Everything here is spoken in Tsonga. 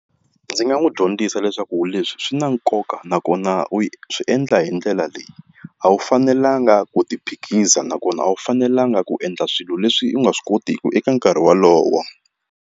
Ndzi nga n'wi dyondzisa leswaku leswi swi na nkoka nakona u swi endla hi ndlela leyi a wu fanelanga ku ti phikiza nakona a wu fanelanga ku endla swilo leswi u nga swi kotiki eka nkarhi wolowo.